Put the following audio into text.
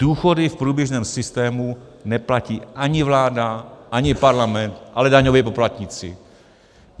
Důchody v průběžném systému neplatí ani vláda, ani parlament, ale daňoví poplatníci.